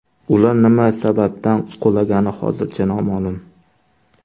Ular nima sababdan qulagani hozircha noma’lum.